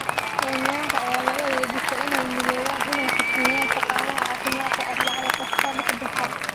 Kenyaanka ayaa la weydiistay inay u midoobaan inay xushmeeyaan shaqaalaha caafimaadka Arbacada kasta "lixda saac".